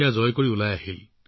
তাৰ পৰাই আপুনি ওলাই আহিল